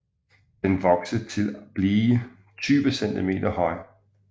Den vokser til blive 20 cm høj